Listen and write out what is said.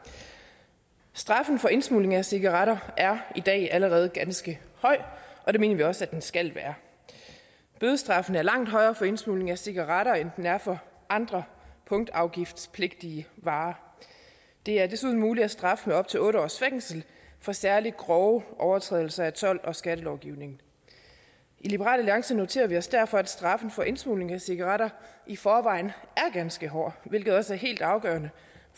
straffen for indsmugling af cigaretter er i dag allerede ganske høj og det mener vi også at den skal være bødestraffen er langt højere for indsmugling af cigaretter end den er for andre punktafgiftspligtige varer det er desuden muligt at straffe med op til otte års fængsel for særlig grove overtrædelser af told og skattelovgivningen i liberal alliance noterer vi os derfor at straffen for indsmugling af cigaretter i forvejen er ganske hård hvilket også er helt afgørende